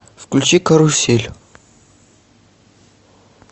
включи карусель